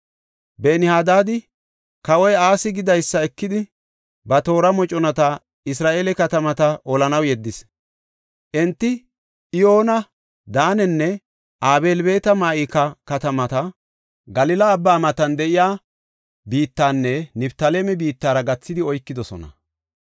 Ben-Hadaadi kawoy Asi gidaysa ekidi, ba toora moconata Isra7eele katamata olanaw yeddis. Enti Iyoona, Daanenne Abeel-Beet-Ma7ika katamata, Galila Abbaa matan de7iya biittanne Niftaaleme biittara gathidi oykidosona.